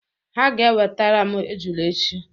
Ha ga-enwetara m ejula echi